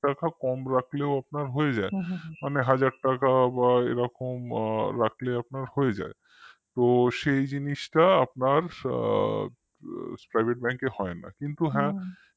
রাখা কম রাখলেও আপনার হয়ে যায় মনে হাজার টাকা বা এরকম রাখলেও আপনার হয়ে যায় তো সেই জিনিসটা আপনার private bank এ হয় না কিন্তু হ্যাঁ